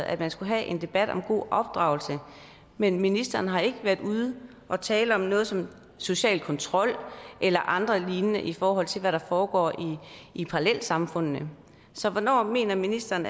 at vi skal have en debat om god opdragelse men ministeren har ikke været ude og tale om sådan noget som social kontrol eller andre lignende emner i forhold til hvad der foregår i parallelsamfundene så hvornår mener ministeren